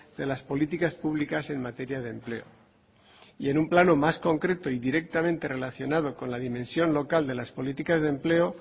de las políticas públicas en materia de empleo y en un plano más concreto y directamente relacionado con la dimensión local de las políticas de empleo